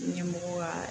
Ɲɛmɔgɔ kaa